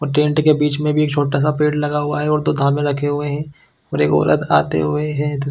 और टेंट के बीच में भी एक छोटा-सा पेड़ लगा हुआ है और दो धामे रखे हुए है और एक औरत आते हुए है।